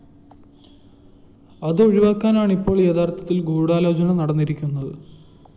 അതൊഴിവാക്കാനാണ്‌ ഇപ്പോള്‍ യഥാര്‍ത്ഥത്തില്‍ ഗൂഢാലോചന നടന്നിരിക്കുന്നത്‌